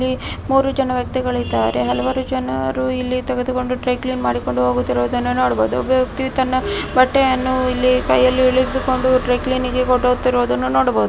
ಇಲ್ಲಿ ಮೂರು ಜನರಿದ್ದಾರೆ ಹಲವಾರು ಜನರು ಇಲ್ಲಿ ಅದನ್ನು ತೆಗೆದುಕೊಂಡು ಡ್ರೈ ಕ್ಲೀನಿಂಗ್ ಮಾಡುವುದನ್ನು ಕಾಣಬಹುದು ಒಬ್ಬ ವ್ಯಕ್ತಿಯು ಇಲ್ಲಿ ತನ್ನ ಬಟ್ಟೆಯನ್ನು ಕೈಯಲ್ಲಿ ಹಿಡಿದುಕೊಂಡು ಇಲ್ಲಿ ಡ್ರೈ ಕ್ಲೀನಿಂಗ್‌ಗೆ ಫೋಟೋ ಕೊಡುತರುವುದನ್ನು ನೋಡಬಹುದು.